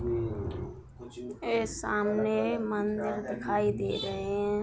यह सामने मंदिर दिखाई दे रहे हैं।